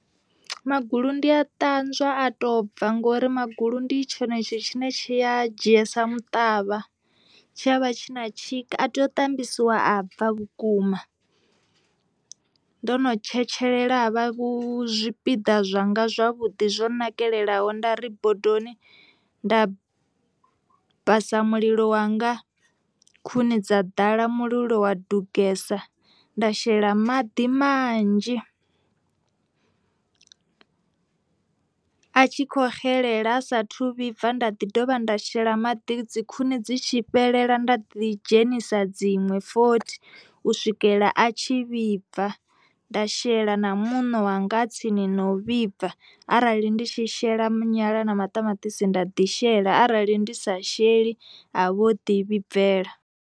Magulu ndi a ṱanzwa a to bva ngori magulu ndi tshone tshithu tshine tshi a dzhia sa muṱavha tshiavha tshi na tshika a tea u tambisiwa a bva vhukuma, ndo no tshetshelela vha vhu zwipiḓa zwanga zwavhuḓi zwo nakelelaho, nda ri bodoni nda vhasa mulilo wanga khuni dza ḓala mulilo wa dugesa nda shela maḓi manzhi a tshi kho xelela ha saathu vhibva nda dovha nda shela maḓi dzi khuni dzi tshi fhelela nda ḓi dzhenisa dziṅwe fothi u swikelela a tshi tshi vhibva, nda shela na muṋo wanga a tsini na u vhibva arali ndi tshi shela nyala na maṱamaṱisi nda ḓi shela arali ndi sa sheli a vho ḓi vhibvela.